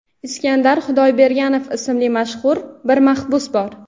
Iskandar Xudoyberganov ismli mashhur bir mahbus bor.